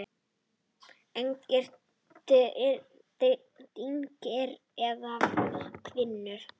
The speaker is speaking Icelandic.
Engir dynkir eða hvinur.